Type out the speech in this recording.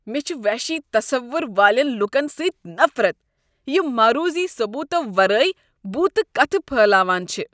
مےٚ چھ وحشی تصور والین لوکن سۭتۍ نفرت یم معروضی ثبوتو ورٲیۍ بُوتہ کتھٕ پھہلاوان چھ۔